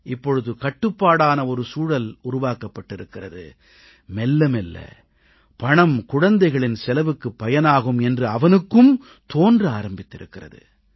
இப்பொழுது கட்டுப்பாடான ஒரு சூழல் உருவாக்கப் பட்டிருக்கிறது மெல்ல மெல்ல பணம் குழந்தைகளின் செலவுக்குப் பயனாகும் என்று அவனுக்கும் தோன்ற ஆரம்பித்திருக்கிறது